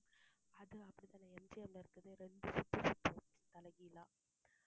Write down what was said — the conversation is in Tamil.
அது அப்படிதானே MGM இருக்குறது ரெண்டு சுத்து சுத்தும் தலைகீழா